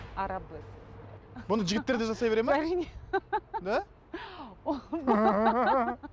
бұны жігіттер де жасай бере ме әрине да